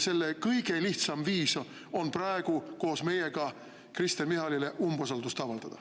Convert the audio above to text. Kõige lihtsam viis selleks on praegu koos meiega Kristen Michalile umbusaldust avaldada.